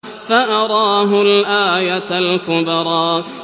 فَأَرَاهُ الْآيَةَ الْكُبْرَىٰ